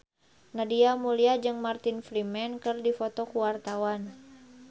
Nadia Mulya jeung Martin Freeman keur dipoto ku wartawan